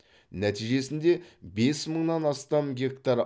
нәтижесінде бес мыңнан астам гектар